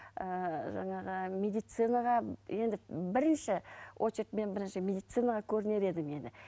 ііі жаңағы медицинаға енді бірінші очередь мен бірінші медицинаға көрінер едім енді